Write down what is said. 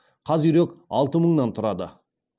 қаз үйрек алты мыңнан тұрады